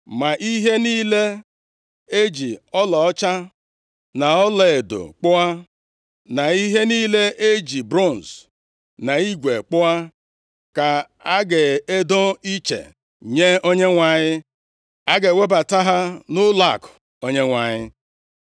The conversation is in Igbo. Ma ihe niile e ji ọlaọcha na ọlaedo kpụọ, na ihe niile e ji bronz na igwe kpụọ, ka a ga-edo iche nye Onyenwe anyị. A ga-ewebata ha nʼụlọakụ Onyenwe anyị.”